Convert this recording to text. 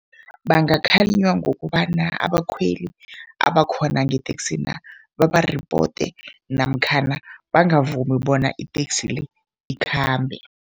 Bangakhalinywa ngokobana abakhweli abakhona ngeteksina babaripote namkhana bangavumi bona iteksi le ikhambe.